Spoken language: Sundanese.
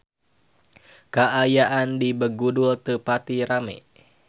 Kaayaan di Begudul teu pati rame